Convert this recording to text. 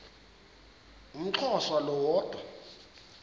umxhosa lo woda